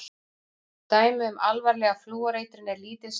Dæmi um alvarlega flúoreitrun eru lítil sem engin.